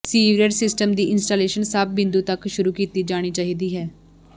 sewerage system ਦੀ installation ਸਭ ਬਿੰਦੂ ਤੱਕ ਸ਼ੁਰੂ ਕੀਤੀ ਜਾਣੀ ਚਾਹੀਦੀ ਹੈ